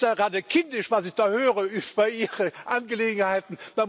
Das ist ja gerade kindisch, was ich da höre über Ihre Angelegenheiten.